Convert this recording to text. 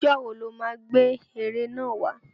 Ìjọ́ wo lọ má gbé ère náà wà?